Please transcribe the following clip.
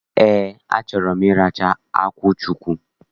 Ee, achọrọ m ịracha akwụ chukwu.